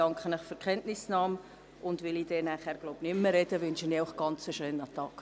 Da ich später wahrscheinlich nicht mehr sprechen werde, wünsche ich Ihnen einen schönen Tag.